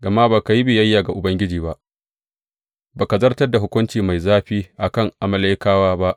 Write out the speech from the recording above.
Gama ba ka yi biyayya ga Ubangiji ba, ba ka zartar da hukuncinsa mai zafi a kan Amalekawa ba.